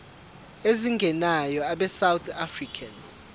ezingenayo abesouth african